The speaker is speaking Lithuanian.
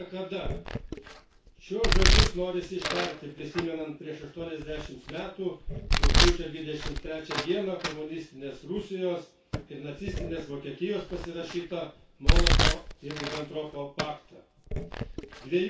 Daugiau niekada šiuos žodžius norisi ištarti prisimenant prieš aštuoniasdešimt metų rugpjūčio dvidešimt trečią dieną komunistinės Rusijos ir nacistinės Vokietijos pasirašytą Molotovo Ribentropo paktą.